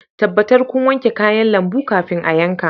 Tabbatar kun wanke kayan lambu kafin a yanka.